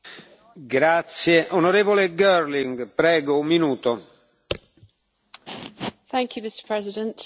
Mr President, I want workplaces to be safe, irrespective of their setting.